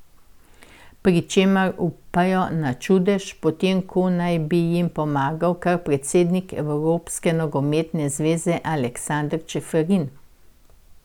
Pri čemer upajo na čudež, potem ko naj bi jim pomagal kar predsednik Evropske nogometne zveze Aleksander Čeferin.